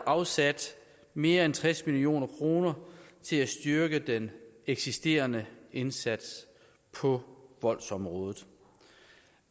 afsat mere end tres million kroner til at styrke den eksisterende indsats på voldsområdet